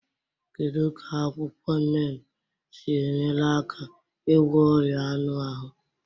Kedu ka akwụkwọ neem si enyere aka ịgwọ ọrịa anụ ahụ?